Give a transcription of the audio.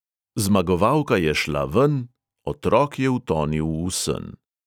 Zmagovalka je šla ven, otrok je utonil v sen.